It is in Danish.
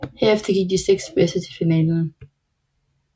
Herefter gik de seks bedste til finalen